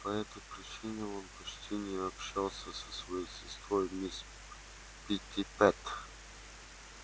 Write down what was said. по этой причине он почти не общался со своей сестрой мисс питтипэт